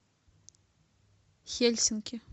хельсинки